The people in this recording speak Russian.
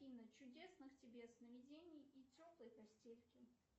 афина чудесных тебе сновидений и теплой постельки